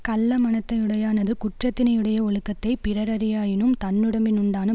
கள்ள மனத்தை யுடையானது குற்றத்தினையுடைய ஒழுக்கத்தைப் பிறரறியாயினும் தன்னுடம்பினுண்டான